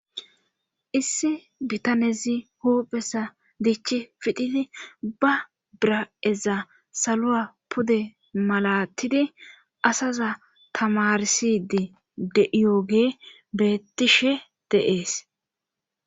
issi bitanezi hoophesa diichi fidhidi ba bira7eza saloa pude malatidi asaza tamarsidi de7iyoge bettishe de'ees